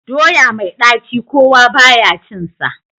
Doya mai ɗaci kowa ba ya cinsa.